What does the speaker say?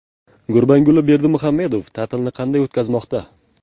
Gurbanguli Berdimuhamedov ta’tilni qanday o‘tkazmoqda?